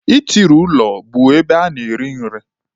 Itiri ụlọ bụ ebe a na-eri nri.